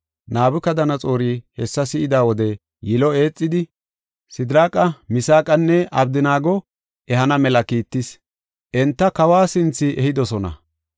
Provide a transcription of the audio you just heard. Nabukadanaxoori hessa si7ida wode, yilo eexidi, Sidiraaqa, Misaaqanne Abdanaago ehana mela kiittis; enta kawa sinthe ehidosona.